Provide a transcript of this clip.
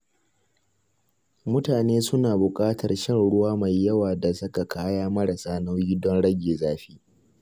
Mutane suna buƙatar shan ruwa mai yawa da saka kaya marasa nauyi don rage zafi.